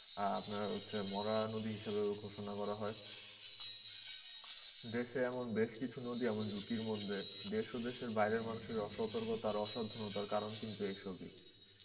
আপনার হচ্ছে মরা নদী হিসাবেও ঘোষণা করা হয়. দেশে এমন বেশ কিছু নদী এমন ঝুঁকির মধ্যে দেড়শো দেশের বাইরের মানুষের অসতর্কতার অসাবধানতার কারণ কিন্তু এই ছবি